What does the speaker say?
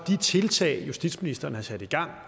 de tiltag justitsministeren har sat i gang